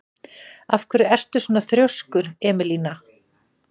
Af hverju ertu svona þrjóskur, Emelína?